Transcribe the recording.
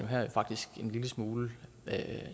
her jo faktisk en lille smule